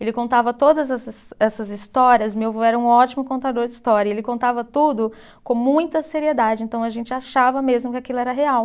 Ele contava todas essas essas histórias, meu vô era um ótimo contador de história, e ele contava tudo com muita seriedade, então a gente achava mesmo que aquilo era real.